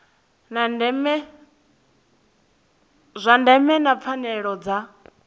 zwa ndeme na pfanelo dza